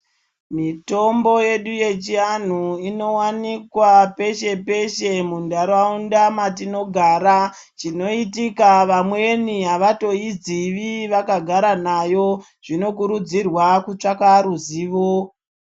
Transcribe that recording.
Mitombo yedu yeanhu inowanikwa peshe peshe mundaraunda matinogara chinoitika vamweni havatoiziyi vakagara nayo zvinokuridzirwa kutsvaka ruzivo.